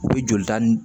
U bɛ jolita nin